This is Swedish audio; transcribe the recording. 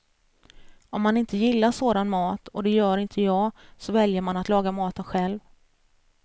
Om man inte gillar sådan mat, och det gör inte jag, så väljer man att laga maten själv.